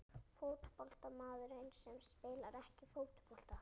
Fótboltamaður sem spilar ekki fótbolta?